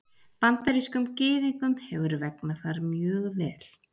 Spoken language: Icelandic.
Bandarískum Gyðingum hefur vegnað þar mjög vel.